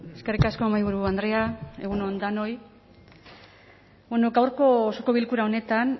eskerrik asko mahaiburu andrea egun on danoi bueno gaurko osoko bilkura honetan